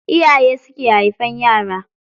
Iyaye su ke haifan yara.